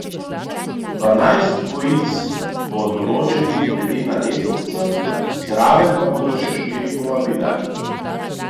Dvanajst dvojic bo določenih glede na lestvico, zraven pa bodo še štiri povabila.